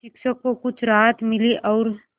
शिक्षक को कुछ राहत मिली और